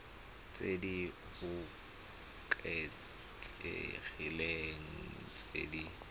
tse di oketsegileng tse di